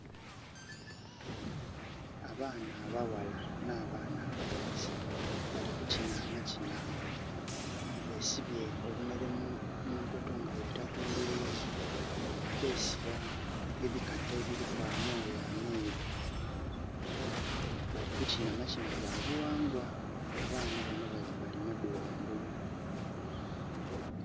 Abaana abaghala n'abaana abalenzi bali kukina amakina. Besibye obunhere munkoto nga bubita kumbirizi. Besiba ebikata ebiliku amooya ameeru. Balikukina makina ga bughangwa. Abana bano bali maddu ghangulu.